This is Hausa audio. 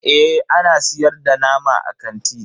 Eh ana siyar da nama a kanti.